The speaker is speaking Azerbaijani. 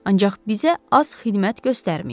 Ancaq bizə az xidmət göstərməyib.